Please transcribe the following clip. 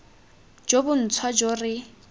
jo bo ntšhwa jo re